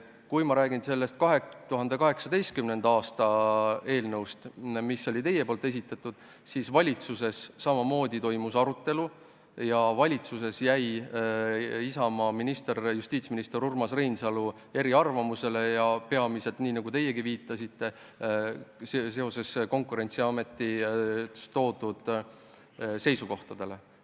Kui rääkida 2018. aasta eelnõust, mille esitasite teie, siis toimus valitsuses samamoodi arutelu ja Isamaa minister, justiitsminister Urmas Reinsalu jäi eriarvamusele – peamiselt, nagu teiegi viitasite, Konkurentsiameti toodud seisukohtade tõttu.